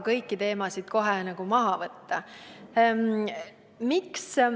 Kõiki teemasid ei saa ka kohe maha võtta.